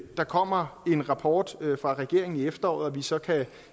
der kommer en rapport fra regeringen i efteråret så vi så kan